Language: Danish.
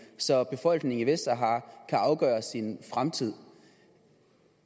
så befolkningen i vestsahara kan afgøre sin fremtid